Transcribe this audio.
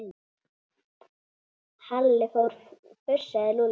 Halli hor fussaði Lúlli.